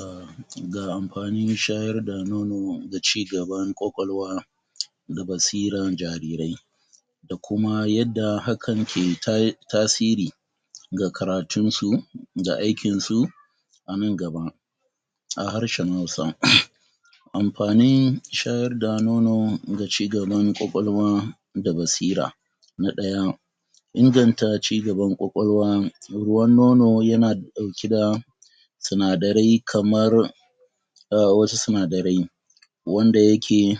um Ga amfanin shayar da nono ga cigaban ƙwaƙwalwa da basiran jarirai da kuma yadda hakan ke ta tasiri ga karatunsu da aikinsu anan gaba a harshen Hausa Amfanin shayar da nono ga cigaban ƙwaƙwalwa da basira Na ɗaya Inganta cigaban ƙwaƙwalwa. Ruwan nono yana ɗauke da sinadarai kamar um wasu sinadarai wanda yake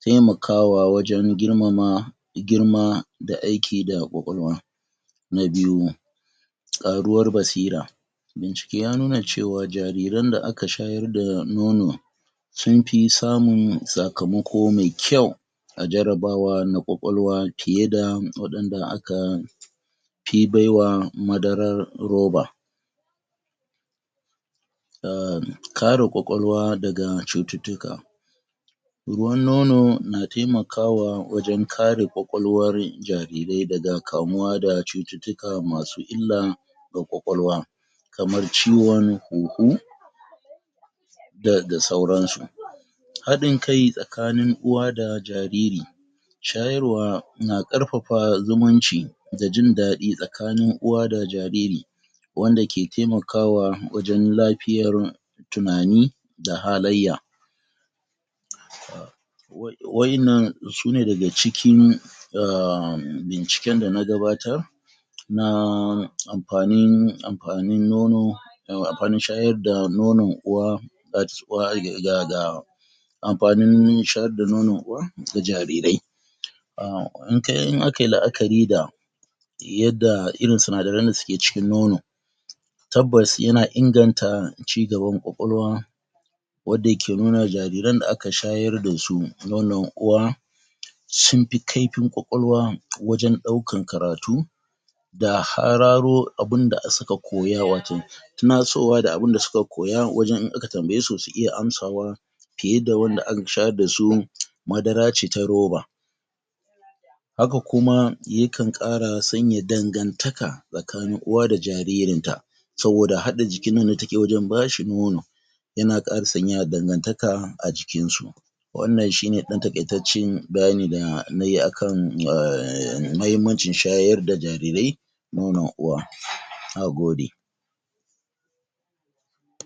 taimakawa wajen girmama girma da aiki da ƙwaƙwalwa Na biyu ƙaruwar basira Bincike ya nuna cewa, jariran da aka shayar da nono sunfi samun sakamako me kyau a jarabawa na ƙwaƙwalwa fiyeda waɗanda aka fi baiwa madarar roba um kare ƙwaƙwalwa daga cututtuka Ruwan nono na taimakawa wajen kare ƙwaƙwalwar jarirai daga kamuwa da cututtuka masu illa ga ƙwaƙwalwa kamar ciwon huhu da da sauransu Haɗin kai tsakanin uwa da jariri shayarwa na ƙarfafa zumunci da jin daɗi tsakanin uwa da jariri wanda ke taimakawa wajen lafiyar tunani da halayya wai waƴannan sune daga cikin um binciken dana gabatar na amfanin ,amfanin nono yawwa amfanin shayar da nono uwa? ?uwa ga ga amfanin shayar da nonon uwa ga jarirai um in kai, in akai la'akari da yadda irin sinadaran da suje cikin nono tabbas yana inganta cigaban ƙwaƙwalwa wadda yake nuna jariran da aka shayar dasu nonon uwa sunfi kaifin ƙwaƙwalwa wajen ɗaukan karatu da hararo abinda suka koya. Waton tunasowa da abinda suka koya wajen in aka tambayesu su iya amsawa fiyeda wanda aka shayar dsu madara ce ta roba Haka kuma yakan ƙara sanya dangantaka tsakanin uwa da jaririn ta saboda haɗa jikin nan da take wajen bashi nono yana ƙara sanya dangantaka a jikinsu Wannan shine ɗan taƙaitaccen bayani da nayi akan um mahimmancin shayar da jarirai nonon uwa. Nagode.